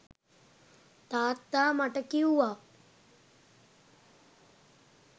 තාත්තා මට කිව්වා